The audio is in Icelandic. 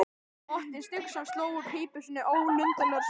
Otti Stígsson sló úr pípu sinni ólundarlegur á svip.